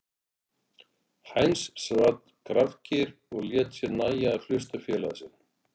Heinz sat grafkyrr og lét sér nægja að hlusta á félaga sinn.